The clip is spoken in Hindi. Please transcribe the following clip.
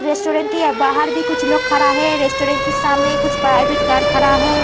रेस्टॉरंट के बाहर भी कुछ लोग खड़ा है रेस्टॉरंट के सामने कुछ प्राइवेट कार खड़ा है।